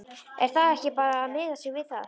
Er þá ekki bara að miða sig við það?